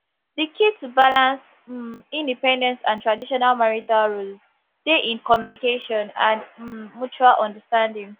di key to balance um independence and traditional marital roles dey in communication and um mutual understanding